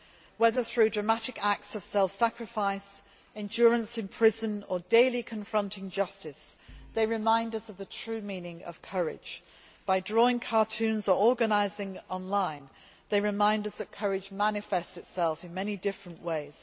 Whether through dramatic acts of self sacrifice, endurance in prison, or daily confronting injustice, they remind us of the true meaning of courage. By drawing cartoons or organising online they remind us that courage manifests itself in many different ways.